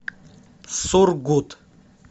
сургут